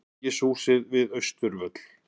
Alþingishúsið við Austurvöll.